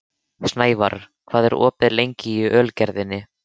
Snævarr, hvað er opið lengi í Ölgerðinni?